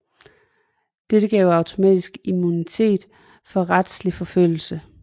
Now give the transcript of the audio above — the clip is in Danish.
Dette gav automatisk immunitet for retslig forfølgelse